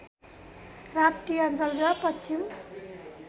राप्ती अञ्चल र पश्चिम